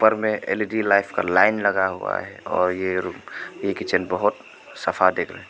में L E D light का line लगा हुआ है और ये रु किचन बहुत सफ़ा दिख रहा है।